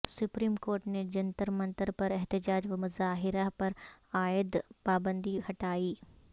supreme Court نے جنتر منتر پر احتجاج و مظاہر ہ پرعائد پابندی ہٹائی